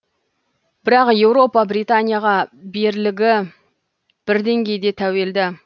бірақ еуропа британияға берлігі бір деңгейде тәуелді